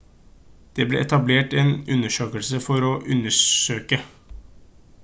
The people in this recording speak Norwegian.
det ble etablert en undersøkelse for å undersøke